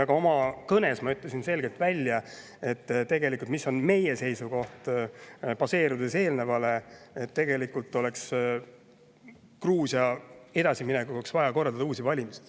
Ka oma kõnes ma ütlesin selgelt välja meie seisukoha, et baseerudes eelneval oleks tegelikult Gruusia edasiminekuks vaja korraldada uued valimised.